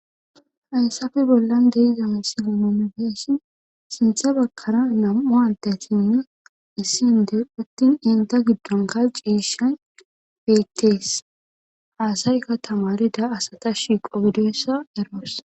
Hayssafe bollan deiza me si gimomefeessi sintha bakkara nam7u hantesinne issinde uttin inta giddon kalciishan beyttees haasaykka tamarida asata shiiqo bidoyssa eroos.